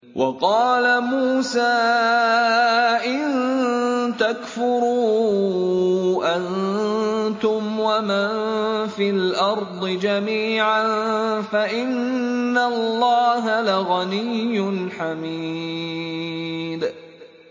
وَقَالَ مُوسَىٰ إِن تَكْفُرُوا أَنتُمْ وَمَن فِي الْأَرْضِ جَمِيعًا فَإِنَّ اللَّهَ لَغَنِيٌّ حَمِيدٌ